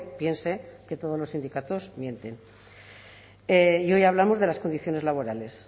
piense que todos los sindicatos mienten y hoy hablamos de las condiciones laborales